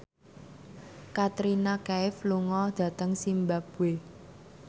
Katrina Kaif lunga dhateng zimbabwe